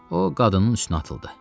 O qadının üstünə atıldı.